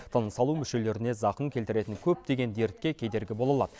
тыныс алу мүшелеріне зақым келтіретін көптеген дертке кедергі бола алады